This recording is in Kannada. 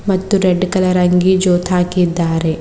ಮತ್ತು ರೆಡ್ ಕಲರ್ ಅಂಗಿ ಜೋತ್ ಹಾಕಿದ್ದಾರೆ.